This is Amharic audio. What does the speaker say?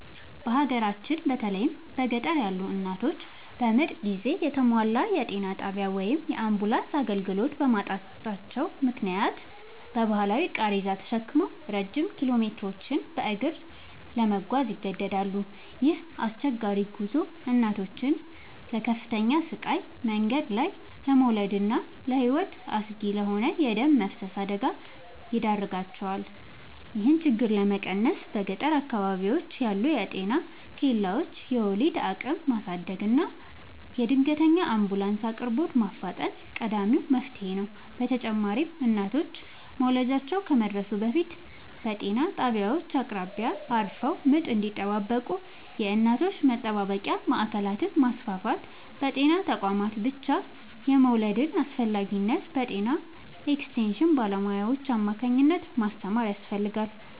በሀገራችን በተለይም በገጠር ያሉ እናቶች በምጥ ጊዜ የተሟላ የጤና ጣቢያ ወይም የአምቡላንስ አገልግሎት በማጣታቸው ምክንያት በባህላዊ ቃሬዛ ተሸክመው ረጅም ኪሎሜትሮችን በእግር ለመጓዝ ይገደዳሉ። ይህ አስቸጋሪ ጉዞ እናቶችን ለከፍተኛ ስቃይ፣ መንገድ ላይ ለመውለድና ለሕይወት አስጊ ለሆነ የደም መፍሰስ አደጋ ይዳርጋቸዋል። ይህንን ችግር ለመቀነስ በገጠር አካባቢዎች ያሉ የጤና ኬላዎችን የወሊድ አቅም ማሳደግና የድንገተኛ አምቡላንስ አቅርቦትን ማፋጠን ቀዳሚው መፍትሔ ነው። በተጨማሪም እናቶች መውለጃቸው ከመድረሱ በፊት በጤና ጣቢያዎች አቅራቢያ አርፈው ምጥ እንዲጠባበቁ የእናቶች መጠባበቂያ ማዕከላትን ማስፋፋትና በጤና ተቋማት ብቻ የመውለድን አስፈላጊነት በጤና ኤክስቴንሽን ባለሙያዎች አማካኝነት ማስተማር ያስፈልጋል።